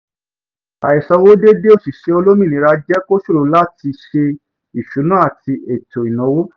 àìsanwó déedé òṣìṣẹ́ olómìnira jẹ́ kó ṣòro láti sé ìṣúná ati ètò ìnáwó